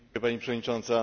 Pani Przewodnicząca!